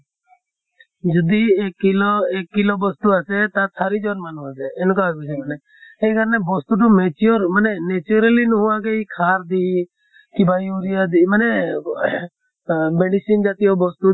যদি এক kilo, এক kilo বস্তু আছে তাত চাৰি জন মানুহ আছে এনেকুৱা হয় বস্তু বিলাক। সেই কাৰণে বস্তু টো mature মানে naturally নোহোৱাকে মানে সাৰ দি, কিবা urea দি মানে আহ medicine জাতিয় বস্তু